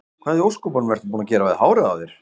Hvað í ósköpunum ertu búinn að gera við hárið á þér?